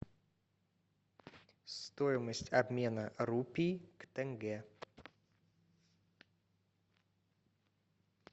стоимость обмена рупий к тенге